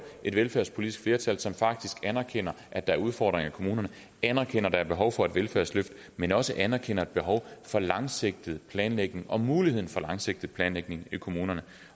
et velfærdspolitisk flertal som faktisk anerkender at der er udfordringer i kommunerne anerkender at der er behov for et velfærdsløft men også anerkender et behov for langsigtet planlægning og muligheden for langsigtet planlægning i kommunerne